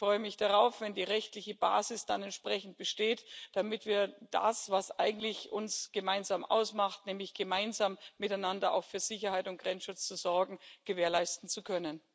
Ich freue mich darauf, wenn die rechtliche Basis dann entsprechend besteht, damit wir das, was uns eigentlich gemeinsam ausmacht, nämlich gemeinsam miteinander auch für Sicherheit und Grenzschutz zu sorgen, gewährleisten können.